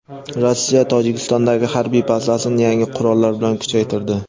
Rossiya Tojikistondagi harbiy bazasini yangi qurollar bilan kuchaytirdi.